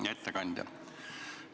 Hea ettekandja!